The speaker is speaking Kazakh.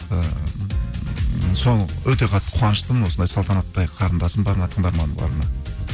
ыыы соны өте қатты қуаныштымын осындай салтанаттай қарындасым барына тыңдарыманым барына